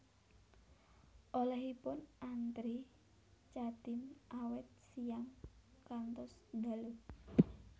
Olehipun antre Chatime awit siyang ngantos dalu